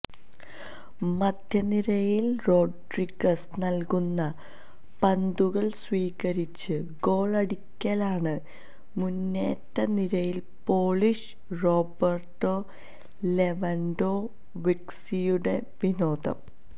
മധ്യനിരയില് Rodriguez നല്കുന്ന പന്തുകള് സ്വീകരിച്ച് ഗോളടിക്കലാണ് മുന്നേറ്റനിരയില് പോളിഷ് റോബര്ട്ടോ ലെവന്ഡോവ്സ്കിയുടെ വിനോദം